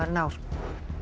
ár